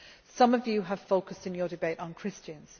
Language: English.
Some of you focused, in your debate, on Christians.